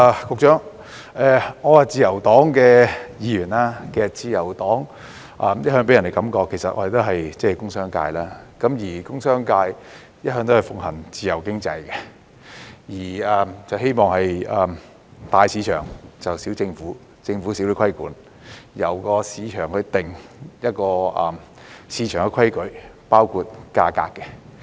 局長，我是自由黨的議員，其實自由黨一向予人的感覺是我們來自工商界，而工商界向來奉行自由經濟，希望做到"大市場、小政府"，政府少些規管，由市場決定市場的規矩，包括價格。